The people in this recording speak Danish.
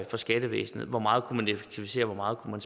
for skattevæsenet hvor meget man kunne effektivisere hvor meget man